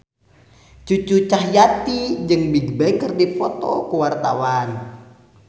Cucu Cahyati jeung Bigbang keur dipoto ku wartawan